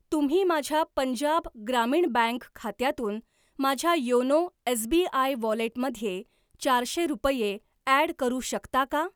तुम्ही माझ्या पंजाब ग्रामीण बँक खात्यातून माझ्या योनो एसबीआय वॉलेटमध्ये चारशे रुपये ॲड करू शकता का?